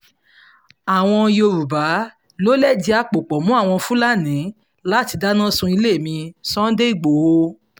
àwọn yorùbá ló lẹ̀dí àpò pọ̀ mọ́ àwọn fúlàní láti dáná sunlé mi- sunday igbodò